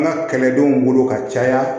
An ka kɛlɛdenw bolo ka caya